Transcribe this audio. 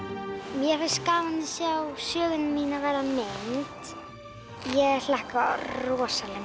mér finnst gaman að sjá söguna mína verða mynd ég hlakka rosalega